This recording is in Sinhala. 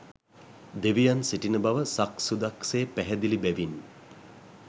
දෙවියන් සිටින බව සක්සුදක් සේ පැහැදිලි බැවින්